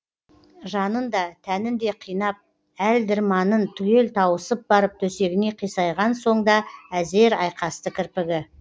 жанын да тәнін де қинап әл дірманын түгел тауысып барып төсегіне қисайған соң да әзер айқасты кірпігі